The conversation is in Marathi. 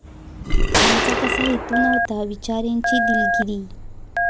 आमचा तसा हेतू नव्हता, विचारेंची दिलगिरी